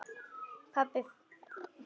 Pabbinn frægi.